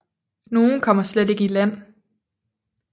Nogle kommer slet ikke i land